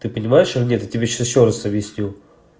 ты понимаешь или нет я тебе сейчас ещё раз объясню